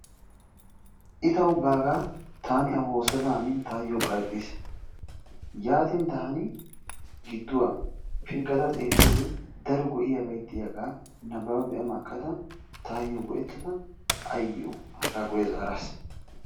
I tawu baagaa taani A woossada hanin taayyoo garxxis. Yaatin taani gidduwa pilggada xeelliyoode daro go"iyaabay diyaagaa nababa be"a makkada taayyo go"ettada aayyoo aagaa guyye zaaraas.